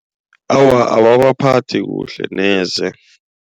Awa ababaphathi kuhle neze.